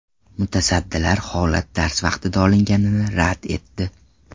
Mutasaddilar holat dars vaqtida olinganini rad etdi.